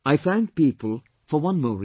I thank people for one more reason